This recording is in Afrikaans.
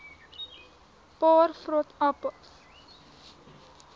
paar vrot appels